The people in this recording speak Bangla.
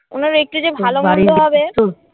ওনার একটু যে ভালো মন্দ হবে